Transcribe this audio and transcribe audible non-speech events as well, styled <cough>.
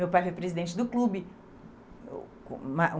Meu pai foi presidente do clube. <unintelligible>